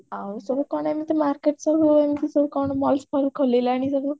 ଆଉ ସବୁ କଣ ଏମିତି market ସବୁ ଏମିତି ସବୁ କଣ malls ଫଲ୍ସ ଖୋଇଲାଣି ସବୁ